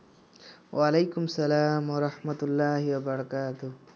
ওয়ালাইকুম আসসালাম ওয়ারাহমাতুল্লাহি ওয়াবারাকাতুহ